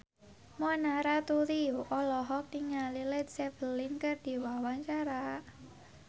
Mona Ratuliu olohok ningali Led Zeppelin keur diwawancara